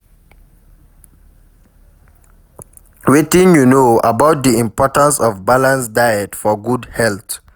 Wetin you know about di importance of balanced diet for good health?